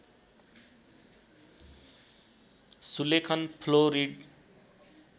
सुलेखन fluoride